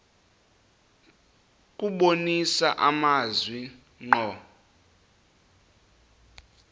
kubonisa amazwi ngqo